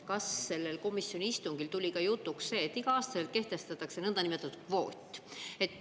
Kas sellel komisjoni istungil tuli jutuks ka see, et iga-aastaselt kehtestatakse nõndanimetatud kvoot?